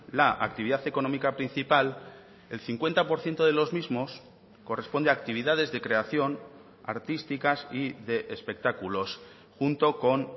la actividad económica principal el cincuenta por ciento de los mismos corresponde a actividades de creación artísticas y de espectáculos junto con